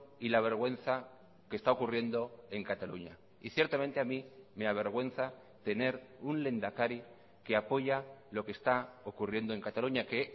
y la vergüenza que está ocurriendo en cataluña y ciertamente a mí me avergüenza tener un lehendakari que apoya lo que está ocurriendo en cataluña que